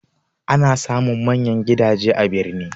Ana samun manyan gidaje a birni